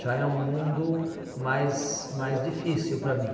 Já é um mundo mais mais difícil para mim.